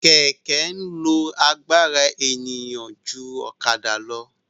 Kẹ̀kẹ́ ń lo agbára èèyàn lọ ju ọ̀kadà lọ